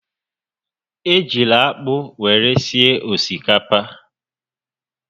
Ejila akpụ were sie osikapa!